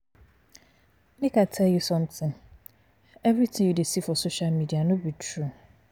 Make I tell you something. Everything you dey see for social media no be true.